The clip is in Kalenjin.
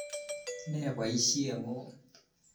Ne poisyet ng'ung'?